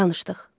Danışdıq.